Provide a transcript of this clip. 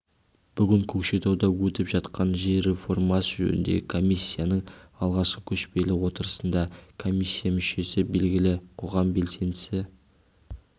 бүгін көкшетауда өтіп жатқан жер реформасы жөніндегі комиссияның алғашқы көшпелі отырысында комиссия мүшесі белгілі қоғам белсендісі